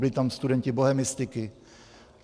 Byli tam studenti bohemistiky.